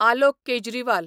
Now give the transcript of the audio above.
Alok Kejriwal